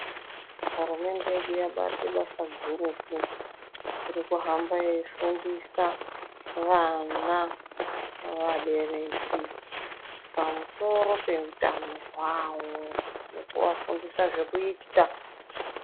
Hurumende yedu yabate basa gurutu rekuhamba yeifundisa vana, vabereki pamusoro peutano hwavo nekuvafundisa zvekuita.